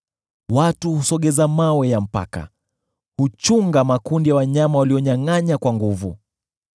Watu husogeza mawe ya mpaka; huchunga makundi ya wanyama waliyonyangʼanya kwa nguvu.